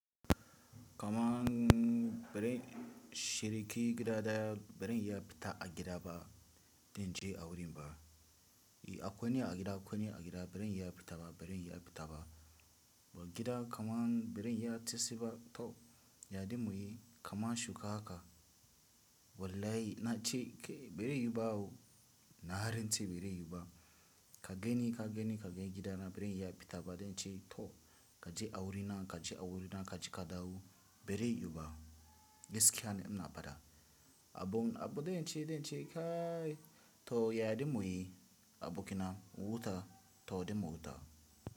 Kamaan bare shiriki gida daya, bare iya fita a gida ba, dince a wurin ba. Yi a kwaniya a gida kwaniya a gida, bare iya fita ba, bare iya fita ba. Wa gida kamaan bare iya tesi ba, to ya dimu yi kamaan shuka haka. Wallahi na ce ke bare yi ba wo, na rans e bare yu ba. Ka gani ka gani ka gani gidana bare iya fita ba dince, to ka je a wurina ka je a wurina ka je ka dawo bare yuba. Gaskiyane ina fada. Abun abu dince dince kaayi to ya dimu yi abukina wuta to dimu wuta.